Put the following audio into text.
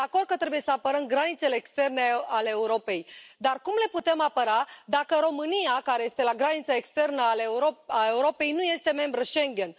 Sunt de acord că trebuie să apărăm granițele externe ale Europei, dar cum le putem apăra, dacă România, care este la granița externă a Europei, nu este membră Schengen?